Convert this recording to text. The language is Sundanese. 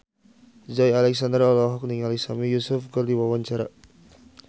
Joey Alexander olohok ningali Sami Yusuf keur diwawancara